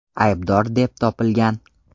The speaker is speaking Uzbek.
aybdor deb topilgan.